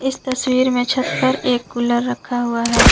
इस तस्वीर में छत पर एक कूलर रखा हुआ है।